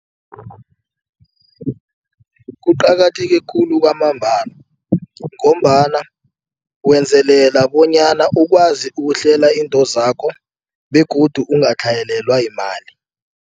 Kuqakatheke khulu kwamambala ngombana wenzelela bonyana ukwazi ukuhlela intozakho begodu kungaqatlhayelelwa yimali.